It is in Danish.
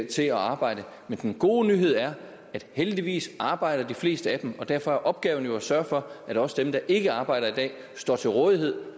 til at arbejde men den gode nyhed er at heldigvis arbejder de fleste af dem og derfor er opgaven jo at sørge for at også dem der ikke arbejder i dag står til rådighed